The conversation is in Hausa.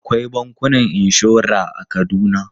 Akwai bankunan inshora a Kaduna.